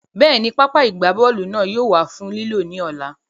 Bẹ́ẹ̀ni, pápá ìgbábọ́ọ̀lù náà yóò wà fún lílò ní ọ̀la